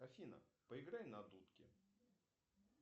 афина поиграй на дудке